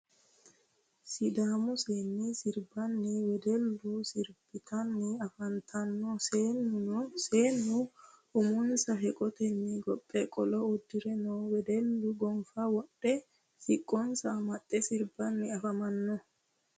Sidaamu seenni siribbanna wedellu siribittanni affanttanno seennu ummonsa heqottenni gophphe qolo uddire noo wedelluno goffa wodhdhe siqqonsa amaxxe siribbanni afammanno